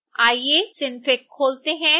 आइए synfig खोलते हैं